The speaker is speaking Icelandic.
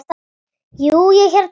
Jú, ég hérna.